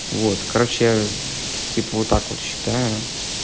вот короче я типа вот так вот считаю